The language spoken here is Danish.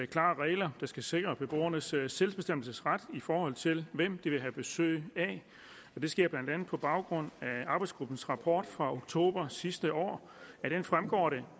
klare regler der skal sikre beboernes selvbestemmelsesret i forhold til hvem de vil have besøg af og det sker blandt andet på baggrund af arbejdsgruppens rapport fra oktober sidste år af den fremgår det